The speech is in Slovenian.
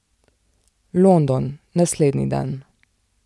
London, naslednji dan.